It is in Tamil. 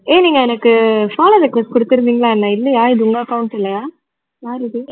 ஏ நீங்க எனக்கு follow request குடுத்திருந்தீங்களா என்ன இல்லையா இது உங்க account இல்லயா யார் இது